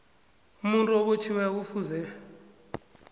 umuntu obotjhiweko kufuze